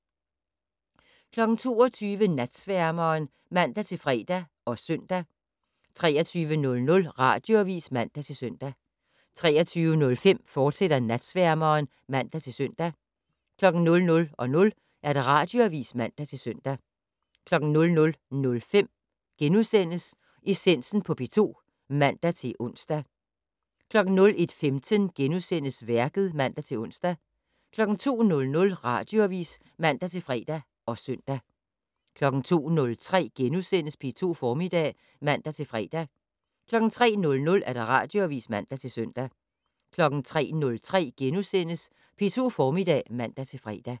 22:00: Natsværmeren (man-fre og søn) 23:00: Radioavis (man-søn) 23:05: Natsværmeren, fortsat (man-søn) 00:00: Radioavis (man-søn) 00:05: Essensen på P2 *(man-ons) 01:15: Værket *(man-ons) 02:00: Radioavis (man-fre og søn) 02:03: P2 Formiddag *(man-fre) 03:00: Radioavis (man-søn) 03:03: P2 Formiddag *(man-fre)